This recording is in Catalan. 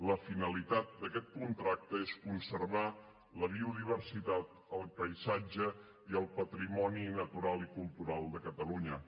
la finalitat d’aquest contracte és conservar la biodiversitat el paisatge i el patrimoni natural i cultural de catalunya